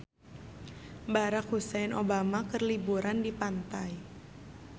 Barack Hussein Obama keur liburan di pantai